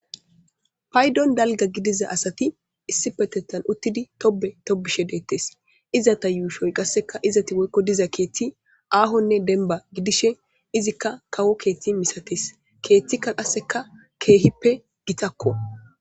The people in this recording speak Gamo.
Paydon dalga gidiza asati issi petettan uttidi tobe tobishe deettes izata yuushoy qasseka izati woykko diza keethti aahonne denba gidishe izikka kawo keeththi misatees keeththikka qasseka keehippe gitakko.